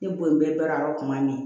Ne bonyana kuma min